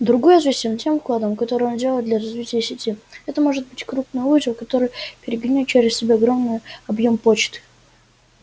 другой известен тем вкладом который он делает для развития сети это может быть крупный узел который перегоняет через себя огромный объем почты